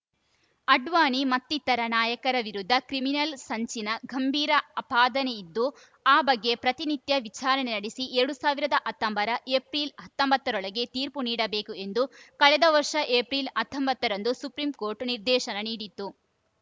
ಅಡ್ವಾಣಿ ಮತ್ತಿತರ ನಾಯಕರ ವಿರುದ್ಧ ಕ್ರಿಮಿನಲ್‌ ಸಂಚಿನ ಗಂಭೀರ ಆಪಾದನೆಯಿದ್ದು ಆ ಬಗ್ಗೆ ಪ್ರತಿನಿತ್ಯ ವಿಚಾರಣೆ ನಡೆಸಿ ಎರಡ್ ಸಾವಿರದ ಹತ್ತೊಂಬತ್ತರ ಏಪ್ರಿಲ್ ಹತ್ತೊಂಬತ್ತರೊಳಗೆ ತೀರ್ಪು ನೀಡಬೇಕು ಎಂದು ಕಳೆದ ವರ್ಷ ಏಪ್ರಿಲ್ ಹತ್ತೊಂಬತ್ತರಂದ ಸುಪ್ರೀಂಕೋರ್ಟ್‌ ನಿರ್ದೇಶನ ನೀಡಿತ್ತು